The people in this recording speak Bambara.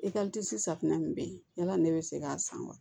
safunɛ min be yen yala ne be se k'a san wa